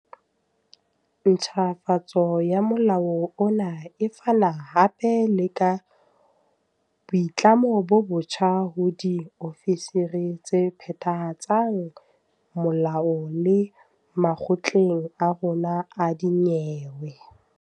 Ntjhafatso ya molao ona e fana hape le ka boitlamo bo botjha ho diofisiri tse phethahatsang molao le makgotleng a rona a dinyewe.